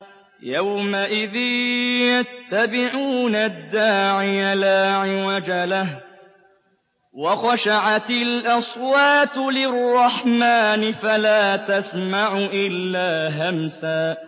يَوْمَئِذٍ يَتَّبِعُونَ الدَّاعِيَ لَا عِوَجَ لَهُ ۖ وَخَشَعَتِ الْأَصْوَاتُ لِلرَّحْمَٰنِ فَلَا تَسْمَعُ إِلَّا هَمْسًا